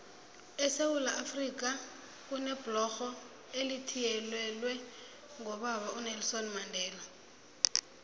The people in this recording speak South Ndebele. esewula afrika kunebhlorho elithiyelelwe ngobaba unelson mandela